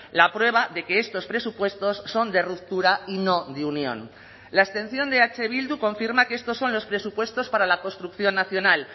la prueba de que estos presupuestos son de ruptura y no de unión la abstención de eh bildu confirma que estos son los presupuestos para la construcción nacional